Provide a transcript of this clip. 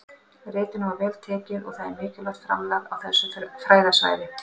Ritinu var vel tekið og það er mikilvægt framlag á þessu fræðasviði.